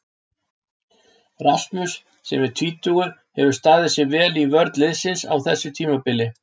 Rasmus sem er tvítugur hefur staðið sig vel í vörn liðsins á þessu tímabili.